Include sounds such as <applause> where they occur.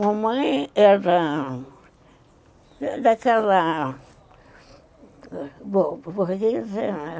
A mãe era daquela... Bom, <unintelligible>